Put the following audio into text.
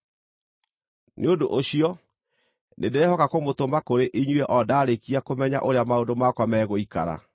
Nĩ ũndũ ũcio, nĩndĩrehoka kũmũtũma kũrĩ inyuĩ o ndaarĩkia kũmenya ũrĩa maũndũ makwa megũikara.